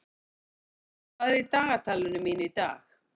Goðmundur, hvað er í dagatalinu mínu í dag?